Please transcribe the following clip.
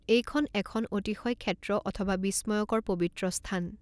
এইখন এখন অতিশয় ক্ষেত্ৰ অথবা বিস্ময়কৰ পৱিত্ৰ স্থান।